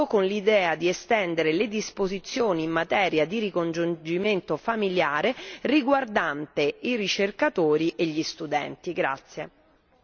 Non concordo con l'idea di estendere le disposizioni in materia di ricongiungimento familiare riguardante i ricercatori e gli studenti.